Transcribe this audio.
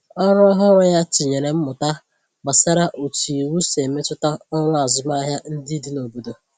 Ọrụ ọhụrụ ya tinyèrè mmụta gbasàra otu iwu si emetụta ọrụ azụmahịa ndị dị n’obodo